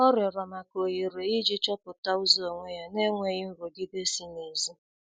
Ọ rịorọ maka ohere iji chọpụta ụzọ onwe ya n'enweghi nrụgide si n'ezi